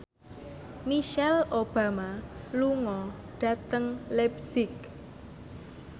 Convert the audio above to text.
Michelle Obama lunga dhateng leipzig